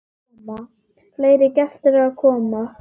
Fleiri gestir eru að koma.